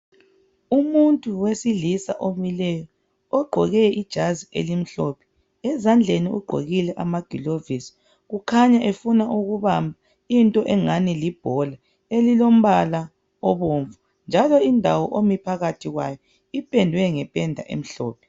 Umuntu wesilisa omileyo, ogqoke ijazi elimhlophe, ezandleni igqokile amagilovisi. Kukhanya efuna ukubamba into engani libhola elilombala obomvu njalo indawo ami phakathi kwayo ipendwe ngependa emhlophe.